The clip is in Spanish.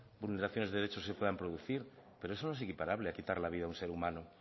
vulneraciones de derechos que se puedan producir pero eso no es equiparable a quitarle la vida a un ser humano